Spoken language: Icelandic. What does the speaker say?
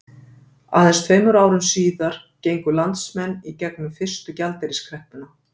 Aðeins tveimur árum síður gengu landsmenn í gegnum fyrstu gjaldeyriskreppuna.